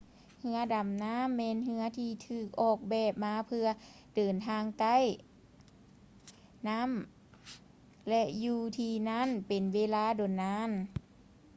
ເຮືອດໍານໍ້າແມ່ນເຮືອທີ່ຖືກອອກແບບມາເພື່ອເດີນທາງໃຕ້ ນໍ້າ ແລະ ຢູ່ທີ່ນັ້ນເປັນເວລາດົນນານ